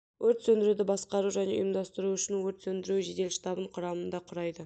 өрт сөндіруді басқару және ұйымдастыру үшін өрт сөндіру жедел штабын құрамында құрайды